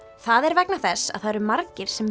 það er vegna þess að það eru margir